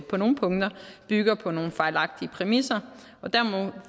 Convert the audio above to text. på nogle punkter bygger på nogle fejlagtige præmisser